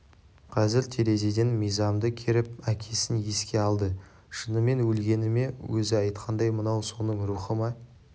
қазір терезеден мизамды керіп әкесін еске алды шынымен өлгені ме өзі айтқандай мынау соның рухы ма